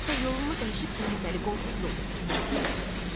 Hətta yolunu dəyişib təhlükəli, qorxulu yolla getmək istəyir.